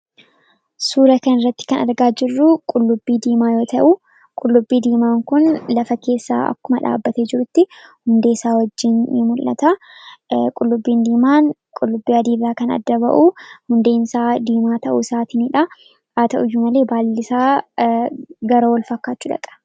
Suuraa kanarratti kan argaa jirru qullubbii diimaa yoo ta'u, qullubbii diimaan kun lafa keessatti akkuma dhaabbatee jirutti hundeesaa wajjin ni mul'ata. Qullubbii diimaan qullubbii adiirraa kan adda bahu hundeensaa diimaa ta'uusaatiin haa ta'uyyuu malee baallisaa gara wal fakkaachuu dhaqa.